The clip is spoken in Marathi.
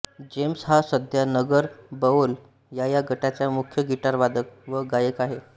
जेम्स हा सध्या नगर बओल याया गटाचा मुख्य गिटार वादक व गायक आहे